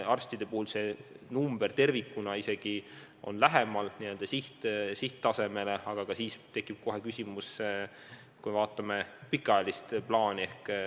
Arstide puhul on number tervikuna isegi lähemal sihttasemele, aga ikkagi tekib küsimus, kui me vaatame pikaajalist plaani.